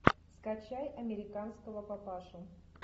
скачай американского папашу